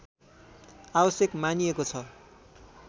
आवश्यक मानिएको छ